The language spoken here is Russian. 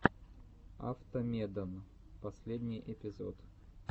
автомедон последний эпизод